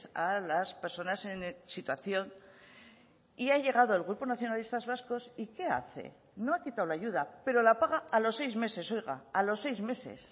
a las personas en situación y ha llegado el grupo nacionalistas vascos y qué hace no ha quitado la ayuda pero la paga a los seis meses oiga a los seis meses